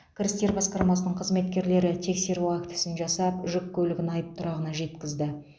кірістер басқармасының қызметкерлері тексеру актісін жасап жүк көлігін айыптұрағына жеткізді